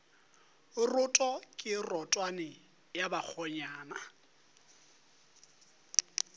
roto ke rotwane ya bakgonyana